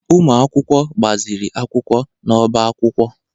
Ụmụ akwụkwọ na-agbaziri akwụkwọ n'ọbá akwụkwọ